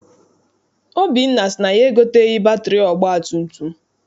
Obinna sị na ya egoteghị batịrị ọgbatumtum.